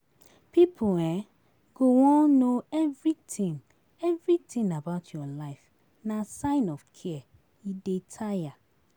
Pipo um go wan know everytin everytin about your life, na sign of care, e dey tire.